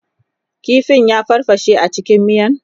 kifin ya farfashe cikin miyan?